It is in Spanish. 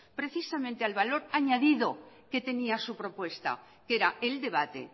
precisamente al valor añadido que tenía su propuesta que era el debate